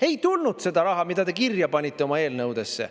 Ei tulnud seda raha, mida te kirja panite oma eelnõudesse.